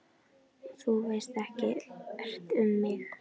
Og þú veist ekkert um mig